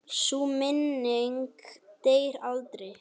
Sú minning deyr aldrei.